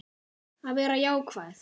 Að vera jákvæð.